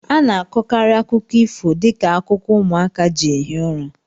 A na-akọkarị akụkọ ifo dị ka akụkọ ụmụaka ji ehi ụra